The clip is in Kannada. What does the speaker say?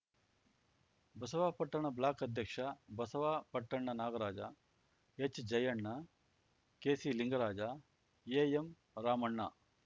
ಬಸವಾಪಟ್ಟಣ ಬ್ಲಾಕ್‌ ಅಧ್ಯಕ್ಷ ಬಸವಾಪಟ್ಟಣ ನಾಗರಾಜ ಎಚ್‌ಜಯಣ್ಣ ಕೆಸಿಲಿಂಗರಾಜ ಎಎಂರಾಮಣ್ಣ